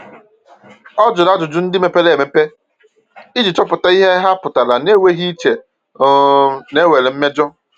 Ọ jụrụ ajụjụ ndị mepere emepe iji chọpụta ihe ha pụtara na-enweghị iche um na e nwere mmejọ.